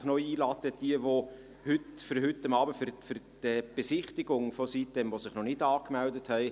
Ich lade Sie übrigens für heute Abend noch herzlich zur Besichtigung der Sitem-insel ein, wenn Sie sich noch nicht angemeldet haben.